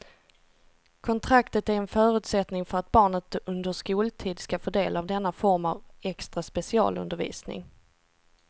Kontraktet är en förutsättning för att barnet under skoltid ska få del av denna form av extra specialundervisning.